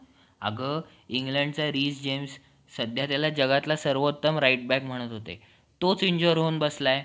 आग इंग्लंडचा जेम्स सध्या त्याला जगातला सर्वोत्तम right bank म्हणत होते तोच insurance होऊन बसलाय.